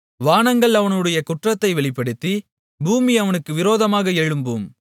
வானங்கள் அவனுடைய குற்றத்தை வெளிப்படுத்தி பூமி அவனுக்கு விரோதமாக எழும்பும்